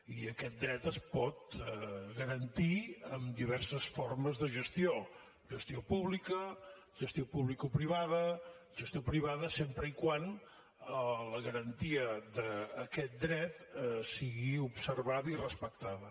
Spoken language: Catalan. i aquest dret es pot garantir amb diverses formes de gestió gestió pública gestió publicoprivada gestió privada sempre que la garantia d’aquest dret sigui observada i respectada